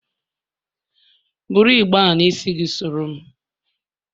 Bụrụ igbe a n'isi gị soro m!